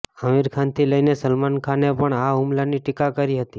આમિર ખાનથી લઈને સલમાન ખાને પણ આ હુમલાની ટીકા કરી હતી